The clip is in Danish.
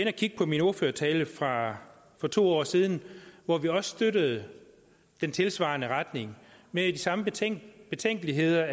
at kigge på min ordførertale fra for to år siden hvor vi også støttede den tilsvarende retning med de samme betænkeligheder